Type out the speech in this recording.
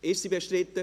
Ist sie bestritten?